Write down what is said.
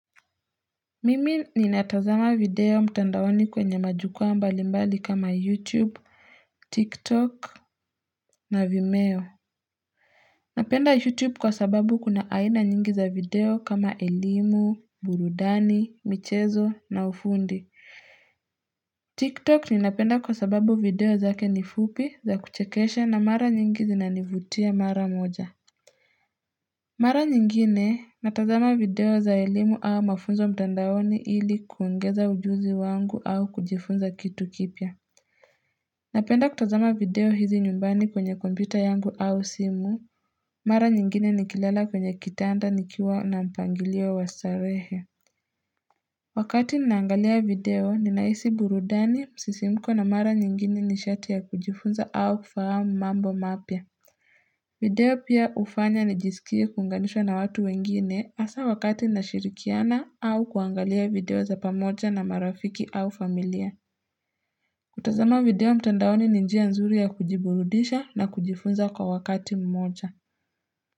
Mimi ninatazama video mtandaoni kwenye majukwaa mbali mbali kama YouTube, TikTok na Vimeo. Napenda YouTube kwa sababu kuna aina nyingi za video kama elimu, burudani, michezo na ufundi. TikTok ninapenda kwa sababu video zake nifupi za kuchekeshe na mara nyingi zinanivutia mara moja. Mara nyingine, natazama video za elimu au mafunzo mtandaoni ili kuongeza ujuzi wangu au kujifunza kitu kipya. Napenda kutazama video hizi nyumbani kwenye kompyuta yangu au simu. Mara nyingine nikilala kwenye kitanda nikiwa na mpangilio wa starehe. Wakati ninaangalia video, ninahisi burudani, msisimko na mara nyingine ni sharti ya kujifunza au kufahamu mambo mapya. Video pia hufanya nijisikie kuunganishwa na watu wengine hasaa wakati nashirikiana au kuangalia video za pamoja na marafiki au familia. Kutazama video mtandaoni ni njia nzuri ya kujiburudisha na kujifunza kwa wakati mmoja.